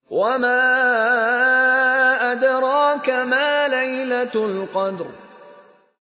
وَمَا أَدْرَاكَ مَا لَيْلَةُ الْقَدْرِ